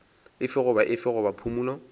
efe goba efe goba phumolo